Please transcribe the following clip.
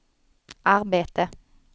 arbete